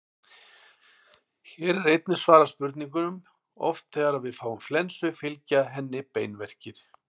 Hér er einnig svarað spurningunum: Oft þegar við fáum flensu fylgja henni beinverkir.